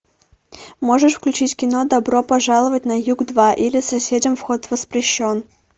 можешь включить кино добро пожаловать на юг два или соседям вход воспрещен